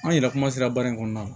An yɛrɛ kuma sera baara in kɔnɔna na